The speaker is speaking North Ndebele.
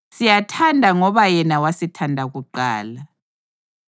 Siyathanda ngoba yena wasithanda kuqala.